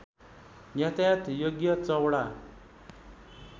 यातायात योग्य चौडा